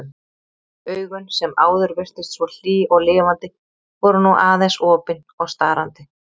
Augun sem áður virtust svo hlý og lifandi voru nú aðeins opin og starandi.